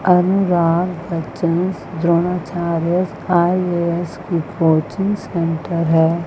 अनुराग बच्चनस द्रोणाचार्य आई_आई_एस की coaching centre है।